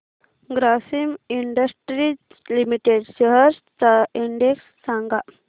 Grasim industries limited shares चा index सांगा